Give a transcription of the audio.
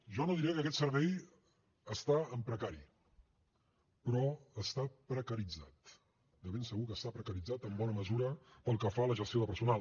jo no diré que aquest servei està en precari però està precaritzat de ben segur que està precaritzat en bona mesura pel que fa a la gestió de personal